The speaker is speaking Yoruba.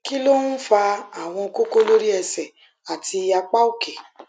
kí ló ń fa àwọn koko lori ese àti apá òkè